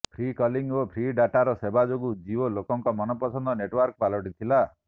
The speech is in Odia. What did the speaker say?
ଫ୍ରି କଲିଂ ଓ ଫ୍ରି ଡାଟାର ସେବା ଯୋଗୁଁ ଜିଓ ଲୋକଙ୍କ ମନପସନ୍ଦ ନେଟୱାର୍କ ପାଲଟିଥିଲା